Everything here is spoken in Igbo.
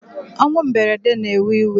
Onwu mberede na ewe iwe